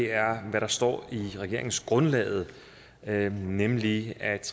er hvad der står i regeringsgrundlaget nemlig at